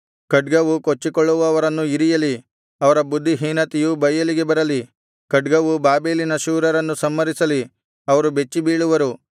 ಖಡ್ಗವು ಕೊಚ್ಚಿಕೊಳ್ಳುವವರನ್ನು ಇರಿಯಲಿ ಅವರ ಬುದ್ಧಿಹೀನತೆಯು ಬಯಲಿಗೆ ಬರುವುದು ಖಡ್ಗವು ಬಾಬೆಲಿನ ಶೂರರನ್ನು ಸಂಹರಿಸಲಿ ಅವರು ಬೆಚ್ಚಿಬೀಳುವರು